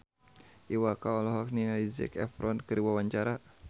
Iwa K olohok ningali Zac Efron keur diwawancara